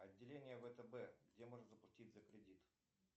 отделение втб где можно заплатить за кредит